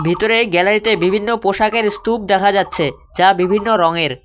ভিতরে গ্যালারি -তে বিভিন্ন পোশাকের স্তূপ দেখা যাচ্ছে যা বিভিন্ন রঙের।